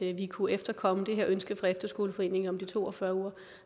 at vi kunne efterkomme det her ønske fra efterskoleforeningen om de to og fyrre uger